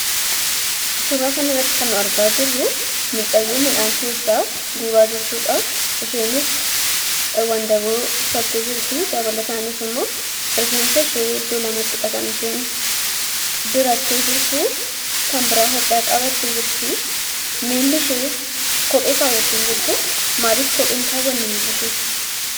Suuraa kanarratti kan argaa jirru mucaayyoo midhaan keessa hubaa guuraa jirtudha. isheenis wandaboo uffatte jirti. dabalatanis immo rifeensa ishee iddoo lamattidha kan isheen godhatte jirtu. kan bira hodhaa qabatte jirti. millii ishee kophee kaawwatte hin jirtu. maaliif kophee hin kaawwanne milla isheetti?